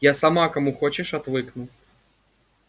я сама кому хочешь отвыкну